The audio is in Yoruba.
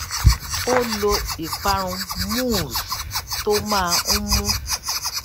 ó lo ìparun mousse tó máa ń mú